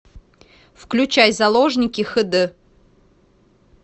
включай заложники хд